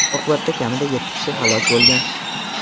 Oqibatda kamida yetti kishi halok bo‘lgan.